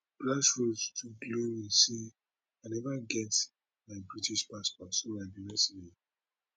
grassroots to glory say i neva get my british passport so i be reside